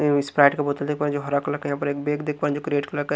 spite का बोतल देख पा रहे हैं जो हरा कलर का यहां पर एक बैक देख पा रहे हैं जो --